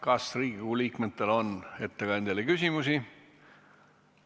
Kas Riigikogu liikmetel on ettekandjale küsimusi?